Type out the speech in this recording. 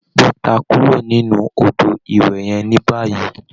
Bọ́ta kúrò nínú odò ìwẹ̀ yẹn ní báyìí.